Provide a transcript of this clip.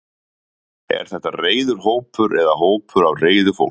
Er þetta reiður hópur eða hópur af reiðu fólki?